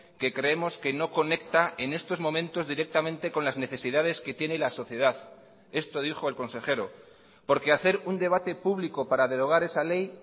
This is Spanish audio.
que creemos que no conecta en estos momentos directamente con las necesidades que tiene la sociedad esto dijo el consejero porque hacer un debate público para derogar esa ley